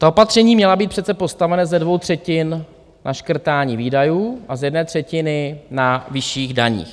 Ta opatření měla být přece postavena ze dvou třetin na škrtání výdajů a z jedné třetiny na vyšších daních.